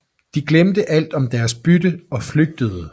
De glemte alt om deres bytte og flygtede